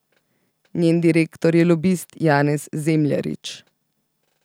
Njen direktor je lobist Janez Zemljarič.